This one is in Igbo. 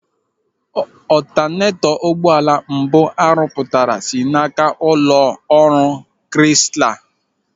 Ọtanetọ ụgbọala mbụ a rụpụtara si n'aka ụlọ ọrụ Krisla.